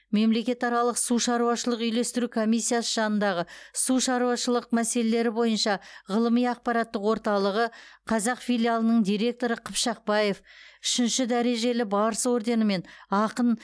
мемлекетаралық су шаруашылық үйлестіру комиссиясы жанындағы су шаруашылық мәселелері бойынша ғылыми ақпараттық орталығы қазақ филиалының директоры қыпшақбаев үшінші дәрежелі барыс орденімен ақын